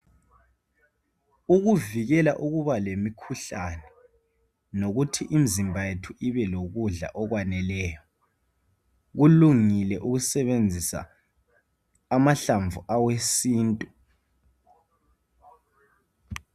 Ukuvikela uba lemikhuhlane, nokuthi imizimba yethu ibe lokhudla kukwaneleyo, kulungile ukusebenzisa amahlamvu awesintu.